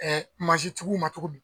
Ɛɛ mansintigiw ma cogo di